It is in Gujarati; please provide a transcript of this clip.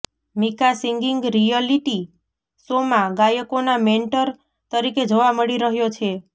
મિકા સિગિંગ રિયલિટી શોમાં ગાયકોના મેન્ટર તરીકે જોવા મળી રહ્યો છે